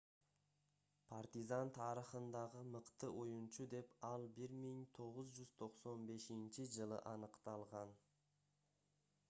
партизан тарыхындагы мыкты оюнчу деп ал 1995-жылы аныкталган